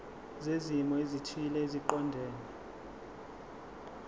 zezimo ezithile eziqondene